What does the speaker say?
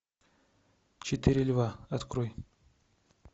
четыре льва открой